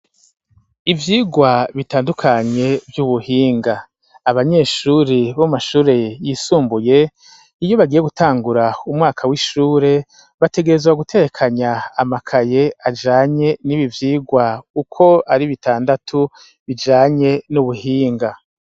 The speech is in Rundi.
Ivyigwa bitandukanye vy'ubuhinga abanyeshuri bamashure yisumbuye iyo bagiye gutangura umwaka w'ishure bategerezwa gutekanya amakaye ajanye n'ibo ivyigwa uko ari bitandatu bijanye n'ubuhinga.